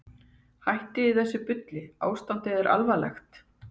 Hættiði þessu bulli, ástandið er alvarlegt.